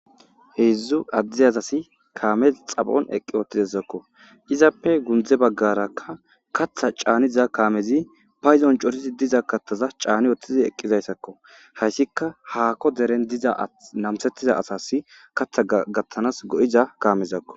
heedzdzu addiyazasi kaamez xapon eqqi ootidezakko izappe gundze baggarakka katha caaniza kaamezi payzon corisi diza kattaza caani woththizi eqqizayssakko hayssikka haakko deren diza namsettiza asas katha gattanas go7iza kaamezakko